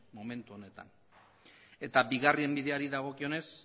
momentu honetan eta bigarren bideari dagokionez